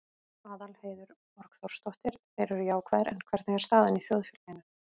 Aðalheiður Borgþórsdóttir: Þeir eru jákvæðir, en hvernig er staðan í þjóðfélaginu?